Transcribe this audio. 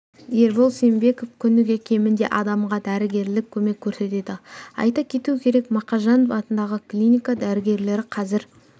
ербол сембеков күніге кемінде адамға дәрігерлік көмек көрсетеді айта кету керек мақажанов атындағы клиника дәрігерлері қазір